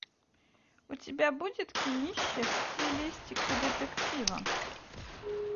у тебя будет кинище в стилистике детектива